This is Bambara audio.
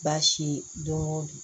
Baasi don o don